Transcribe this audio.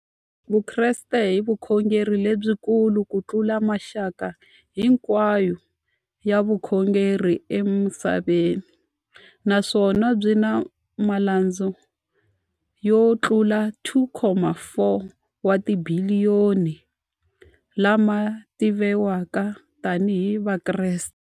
Vukreste i vukhongeri lebyi kulu kutlula mixaka hinkwayo ya vukhongeri emisaveni, naswona byi na malandza yo tlula 2.4 wa tibiliyoni, la ma tiviwaka tani hi Vakreste.